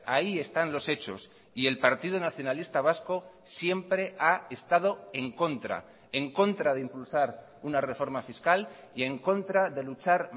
ahí están los hechos y el partido nacionalista vasco siempre ha estado en contra en contra de impulsar una reforma fiscal y en contra de luchar